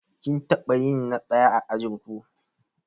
Kin taɓa yin na ɗaya a ajinku?